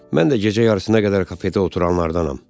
Mən də gecə yarısına qədər kafedə oturanlardanam.